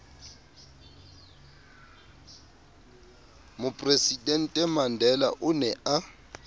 mopresidente mandela o ne a